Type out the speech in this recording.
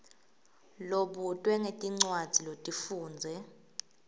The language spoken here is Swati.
lobutwe ngetincwadzi lotifundze